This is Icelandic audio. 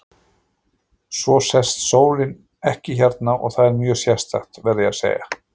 Svo sest sólin ekki hérna og það er mjög sérstakt, verð ég að segja.